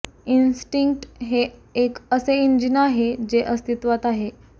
instinct हे एक असे इंजिन आहे जे अस्तित्वात आहे